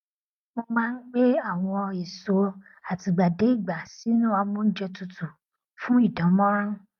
mo má n gbé àwọn èso àtìgbàdégbà sínú amóúnjẹ tutù fún ìdánmọrán